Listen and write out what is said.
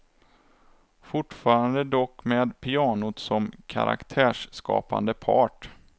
Fortfarande dock med pianot som karaktärsskapande part.